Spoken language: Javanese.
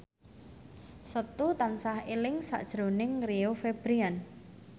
Setu tansah eling sakjroning Rio Febrian